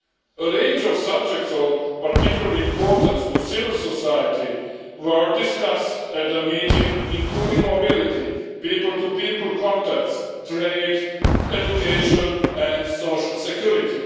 A range of subjects are of particularly importance to civil society were discussed at the meeting, including mobility, people to people contacts, trade, education and social security.